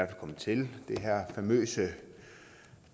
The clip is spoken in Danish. kommet til det her famøse